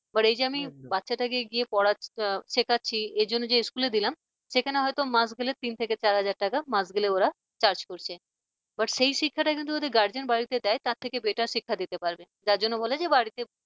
but এই যে আমি বাচ্চাটাকে গিয়ে পড়াচ্ছি শেখাচ্ছি এজন্য যে school দিলাম সেখানে হয়তো মাস গেলে তিন থেকে চার হাজার টাকা মাস গেলে ওরা charge করছে। but সেই শিক্ষাটাই যদি ওদের guardian বাড়িতে দেয় তার থেকে batter শিক্ষা দিতে পারবে। যার জন্য বলে যে বাড়িতে